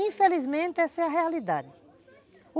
Infelizmente, essa é a realidade.